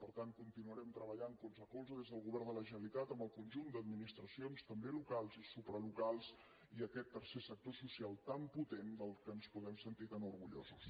per tant continuarem treballant colze a colze des del govern de la generalitat amb el conjunt d’administracions també locals i supralocals i aquest tercer sector social tan potent de què ens podem sentir tan orgullosos